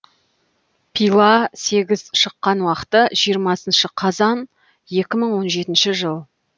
пила сегіз шыққан уақыты жиырмасыншы қазан екі мың он жетінші жыл